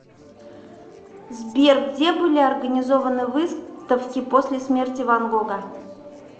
сбер где были организованы выставки после смерти ван гога